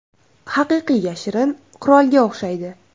Haqiqiy yashirin qurolga o‘xshaydi.